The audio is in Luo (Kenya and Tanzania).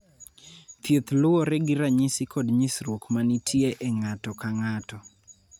Thieth luwore gi ranyisi kod nyisruok ma nitie e ng�ato ka ng�ato.